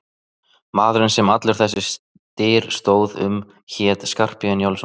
Maðurinn sem allur þessi styr stóð um hét Skarphéðinn Njálsson.